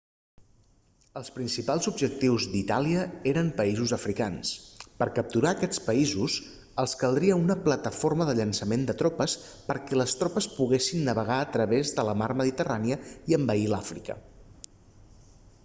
els principals objectius d'itàlia eren països africans per capturar aquests països els caldria una plataforma de llançament de tropes perquè les tropes poguessin navegar a través de la mar mediterrània i envair l'àfrica